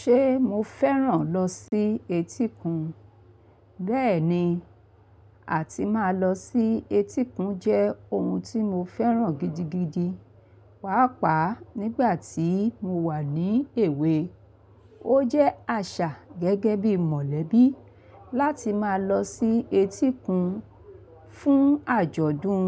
Ṣé mo fẹ́ràn lọ sí etíkun? Bẹ́ẹ̀ni, àti máa lọ sí etíkun jẹ́ ohun tí mo fẹ́ràn gidigidi. Páàpá nígbà tí mo wà ní èwe, ó jẹ́ àṣà gẹ́gẹ́ bí mọ̀lẹ́bí láti máa lọ sí etíkun fún àjọ̀dún